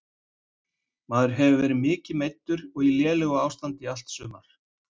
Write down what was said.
Maður hefur verið mikið meiddur og í lélegu standi í allt sumar.